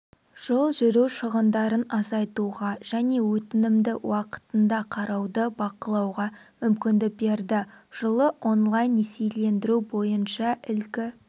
жол жүру шығындарын азайтуға және өтінімді уақытында қарауды бақылауға мүмкіндік берді жылы онлайн-несиелендіру бойынша ілкі